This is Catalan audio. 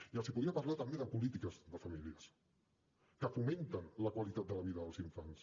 i els podria parlar també de polítiques de famílies que fomenten la qualitat de la vida dels infants